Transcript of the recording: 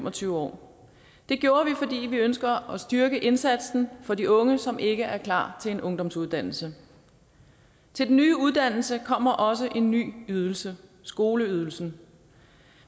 og tyve år det gjorde vi fordi vi ønsker at styrke indsatsen for de unge som ikke er klar til en ungdomsuddannelse til den nye uddannelse kommer også en ny ydelse skoleydelsen